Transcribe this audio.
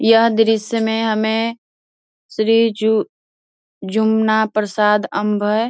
यह दृश्य में हमें श्री जु जमुना प्रसाद अम्भ्य --